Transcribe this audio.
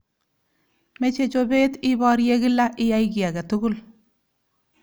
Meche chobet iborye kila iyai ki age tugul.